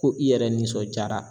Ko i yɛrɛ nisɔnjaara.